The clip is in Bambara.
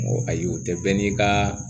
Ayi o tɛ bɛɛ n'i ka